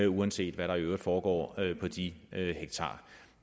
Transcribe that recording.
uanset hvad der i øvrigt foregår på de hektarer